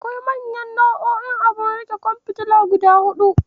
Akwai manyan nau'o'in abun riƙe ƙwan fitila guda huɗu.